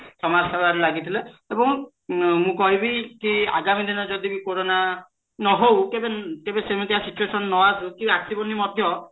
ସମାଜସେବା ରେ ଲାଗିଥିଲେ ଏବଂ ମୁଁ କହିବିକି ଆଗାମୀ ଦିନରେ ଜଡିବି କୋରୋନା ନ ହଉ କେବେ ସେ ପରିକା situation ନ ଆସୁ କି ଆସିବନି ମଧ୍ୟ